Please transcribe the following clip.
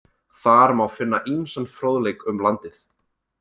Þar má finna ýmsan fróðleik um landið.